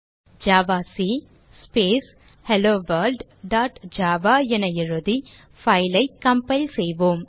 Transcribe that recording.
javac space hello world dot java என எழுதி file ஐ கம்பைல் செய்வோம்